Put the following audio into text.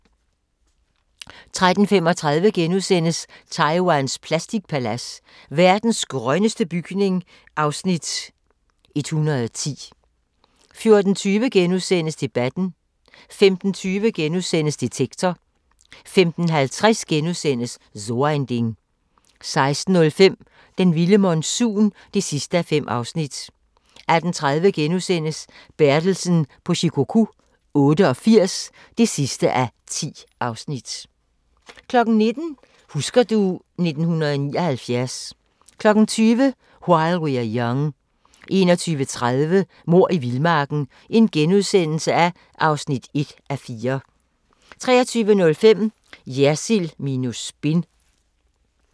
13:35: Taiwans plastikpalads: Verdens grønneste bygning (Afs. 110)* 14:20: Debatten * 15:20: Detektor * 15:50: So ein Ding * 16:05: Den vilde monsun (5:5) 18:30: Bertelsen på Shikoku 88 (10:10)* 19:00: Husker du ... 1979 20:00: While We're Young 21:30: Mord i vildmarken (1:4)* 23:05: Jersild minus spin